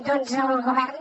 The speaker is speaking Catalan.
doncs el govern